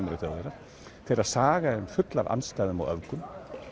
eru Þjóðverjar þeirra saga er full af andstæðum og öfgum